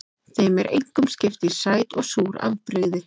Þeim er einkum skipt í sæt og súr afbrigði.